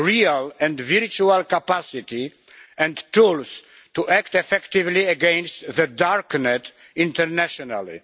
real and virtual capacity and tools, to act effectively against the dark net internationally.